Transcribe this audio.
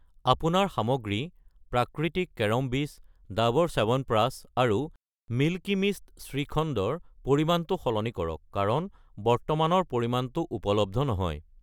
আপোনাৰ সামগ্ৰী প্ৰাকৃতিক কেৰম বীজ , ডাৱৰ চ্যৱনপ্ৰাচ আৰু মিল্কী মিষ্ট শ্ৰীখণ্ড ৰ পৰিমাণটো সলনি কৰা কাৰণ বৰ্তমানৰ পৰিমাণটো উপলব্ধ নহয়।